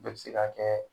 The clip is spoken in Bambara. Bɛɛ bɛ se ka kɛ